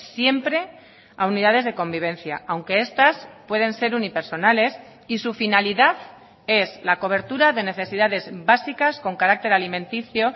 siempre a unidades de convivencia aunque estas pueden ser unipersonales y su finalidad es la cobertura de necesidades básicas con carácter alimenticio